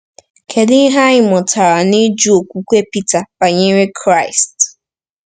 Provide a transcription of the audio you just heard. Kedu ihe anyị mụtara n’ịjụ okwukwe Pita banyere Kraịst?